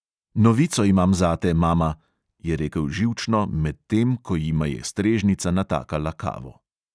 "Novico imam zate, mama," je rekel živčno, medtem ko jima je strežnica natakala kavo.